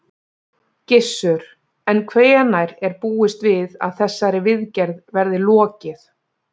Gissur: En hvenær er búist við að þessari viðgerð verði lokið?